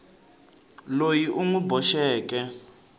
loyi u n wi boxeke